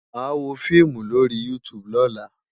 Màá wo fíìmù lórí YouTube lọ́la.